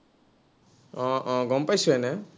আহ আহ গম পাইছো এনেই